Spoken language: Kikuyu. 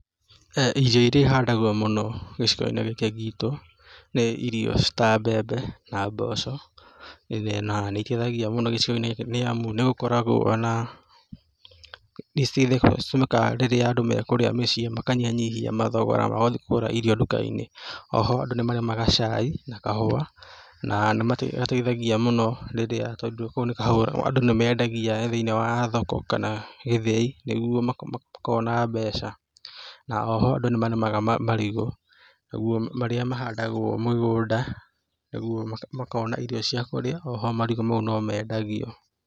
Irio iria ihandagwo mũno gĩcigo-inĩ gĩkĩ gitũ, nĩ irio ta mbembe na mboco na nĩ iteithagia mũno gĩcigo-inĩ gĩkĩ nĩ amu nĩ gũkoragwo, nĩ citũmĩkaga rĩrĩa andũ mekũrĩa mĩciĩ, makanyihanyihia mathogora ma gũthiĩ kũgũra irio duka-inĩ. O ho andũ nĩ marĩmaga cai na kahũa na nĩ mateithagia mũno rĩrĩa, tóndũ nĩ mendagia thĩ-inĩ wa thoko kana gĩthĩi, nĩguo makona mbeca, na oho andũ nĩ marĩmaga marigũ marĩa mahandagwo mũgũnda nĩguo makona irio cia kũrĩa, o ho marigũ nĩ mendagio.